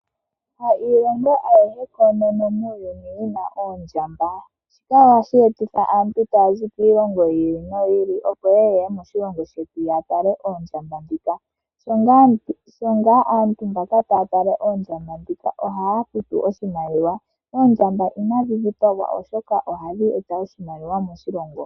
Hayilongo ayihe muuyuni yina oondjamba. Shika ohashi etitha aantu taya zi kiilongo yiili noyi ili yeye moshilongo shetu ya tale oondjamba dhika. Shi ngaa aantu tayeya ya tale oondjamba dhika oha futu oshimaliwa. Oondjamba inadhi dhipagwa oshoka ohadhi eta oshimaliwa moshilongo.